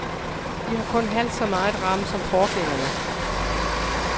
De har kun halvt så meget ram som forgængerne.